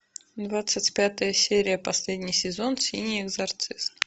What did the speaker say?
двадцать пятая серия последний сезон синий экзорцист